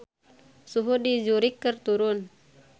Suhu di Zurich keur turun